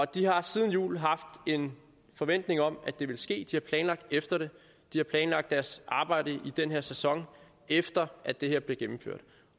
de har siden jul haft en forventning om at det ville ske de har planlagt efter det de har planlagt deres arbejde i den her sæson efter at det her bliver gennemført